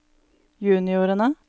juniorene